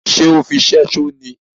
Ṣe ọ fí ṣẹṣo ní?